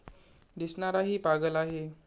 दिसणाराही पागल आहे!